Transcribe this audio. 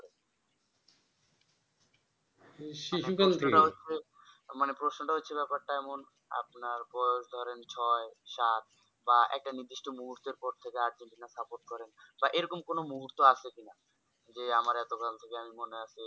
মানে প্রশ্নটা হচ্ছে ব্যাপারটা এমন আপনার ধরেন ছয় সাত বা একটা নির্দিষ্ট মুহূর্ত পর থেকে আর্জেন্টিনা support করেন বা এরকম কোন মুহূর্ত আছে কিনা যে আমারে এত কাল থেকে মনে আছে